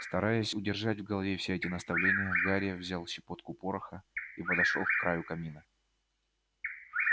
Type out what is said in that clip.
стараясь удержать в голове все эти наставления гарри взял щепотку пороха и подошёл к краю камина